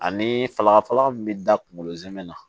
Ani fagafaga min bɛ da kunkolo zɛmɛ na